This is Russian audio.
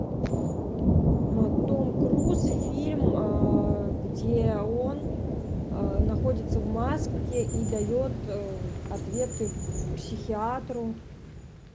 том круз фильм где он находится в маске и дает ответы психиатру